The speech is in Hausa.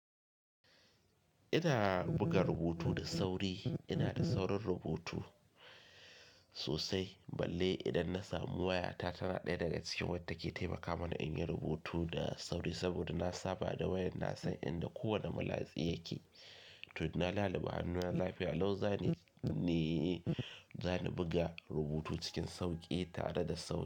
Ina buga rubutu da sauri, ina da saurin rubutu sosai. Balle idan na samu waya ta, tana ɗaya daga cikin wadda take taimaka mani in yi rubutu da sauri saboda na saba da wayar. Na san inda kowane malatsi yake. To dana, laliba hanuna lafiya, lau za ni, za ni buga rubutu cikin sauƙi tare da sauri.